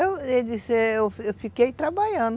Eu, ele disse, eu eu fiquei trabalhando.